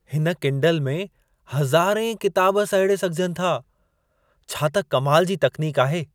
हिन किंडल में हज़ारें किताब सहेड़े सघिजनि था। छा त कमाल जी तकनीक आहे!